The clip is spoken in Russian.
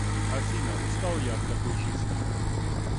афина устал я от такой жизни